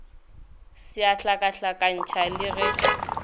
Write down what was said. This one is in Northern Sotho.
se a hlakahlakantšha le ge